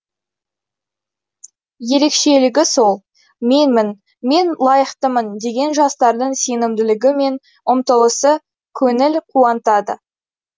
ерекшелігі сол менмін мен лайықтымын деген жастардың сенімділігі мен ұмтылысы көңіл қуантады